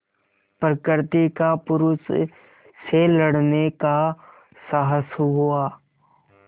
प्रकृति का पुरुष से लड़ने का साहस हुआ